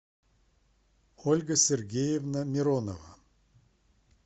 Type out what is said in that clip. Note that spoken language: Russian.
ольга сергеевна миронова